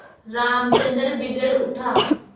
रामचंद्र बिगड़ उठा